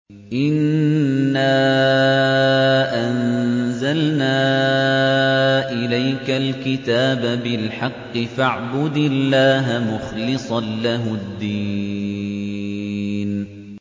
إِنَّا أَنزَلْنَا إِلَيْكَ الْكِتَابَ بِالْحَقِّ فَاعْبُدِ اللَّهَ مُخْلِصًا لَّهُ الدِّينَ